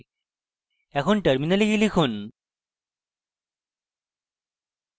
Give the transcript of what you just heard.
এখন terminal গিয়ে লিখুন